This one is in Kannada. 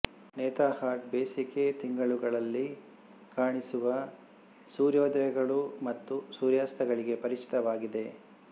ನೇತರ್ಹಾಟ್ ಬೇಸಿಗೆ ತಿಂಗಳುಗಳಲ್ಲಿ ಕಾಣಿಸುವ ಸೂರ್ಯೋದಯಗಳು ಮತ್ತು ಸೂರ್ಯಾಸ್ತಗಳಿಗೆ ಪರಿಚಿತವಾಗಿದೆ